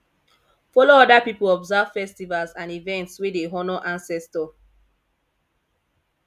follow oda pipo observe festivals and events wey dey honor ancestor